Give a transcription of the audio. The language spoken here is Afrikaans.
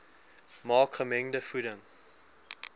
maak gemengde voeding